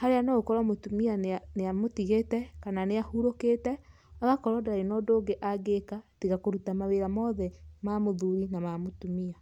harĩa ni ũkore mütumia nĩamũtigĩte kana nĩahurũkĩte agakorwo ndarĩ na ũndũ ũngĩ angĩka tiga kuruta mawĩra mothe ma mũthuri na ma mũtumia.